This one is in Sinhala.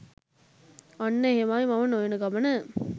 අන්න එහෙමයි මම නොයන ගමන